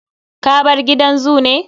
Ka bar gidan zoo ne?